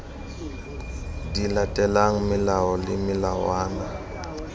di latelang melao le melawana